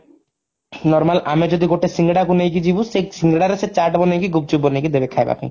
normal ଆମେ ଯଦି ଗୋଟେ ସିଙ୍ଗଡାକୁ ନେଇକି ଯିବୁ ସେ ସିଙ୍ଗଡାରେ ସେ ଚାଟ ବନେଇକି ଗୁପଚୁପ ବନେଇକି ଦେବେ ଖାଇବା ପାଇଁ